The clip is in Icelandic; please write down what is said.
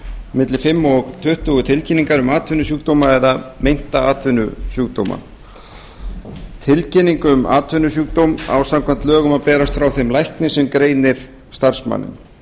milli fimm og tuttugu tilkynningar um atvinnusjúkdóma eða meinta atvinnusjúkdóma tilkynning um atvinnusjúkdóm á samkvæmt lögum að berast frá þeim lækni sem greinir starfsmanninn